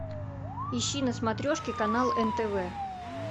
ищи на смотрешке канал нтв